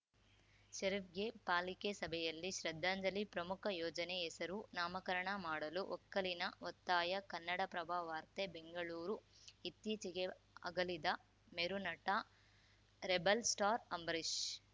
ಷರೀಫ್‌ಗೆ ಪಾಲಿಕೆ ಸಭೆಯಲ್ಲಿ ಶ್ರದ್ಧಾಂಜಲಿ ಪ್ರಮುಖ ಯೋಜನೆಗೆ ಹೆಸರು ನಾಮಕರಣ ಮಾಡಲು ಒಕ್ಕೊಲಿನ ಒತ್ತಾಯ ಕನ್ನಡಪ್ರಭ ವಾರ್ತೆ ಬೆಂಗಳೂರು ಇತ್ತೀಚೆಗೆ ಅಗಲಿದ ಮೇರುನಟ ರೆಬಲ್‌ಸ್ಟಾರ್‌ ಅಂಬರೀಷ್‌